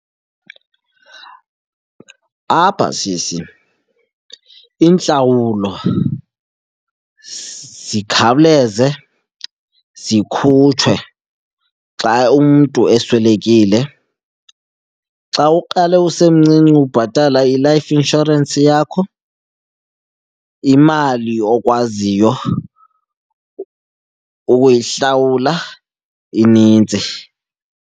Apha sisi, iintlawulo zikhawuleze zikhutshwe xa umntu eswelekile. Xa uqale usemncinci ubhatala i-life insurance yakho, imali okwaziyo ukuyihlawula inintsi.